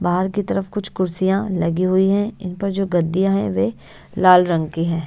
बाहर की तरफ कुछ कुर्सियां लगी हुई हैं इन पर जो गद्दियां हैं वे लाल रंग की हैं।